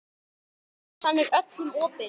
Messan er öllum opin.